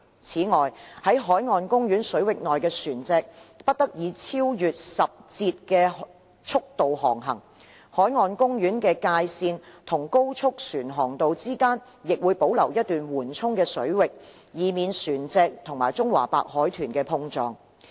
此外，在海岸公園水域內的船隻不得以超越10節的速度航行。海岸公園的界線與高速船航道之間亦會保留一段緩衝水域，以避免船隻與中華白海豚碰撞。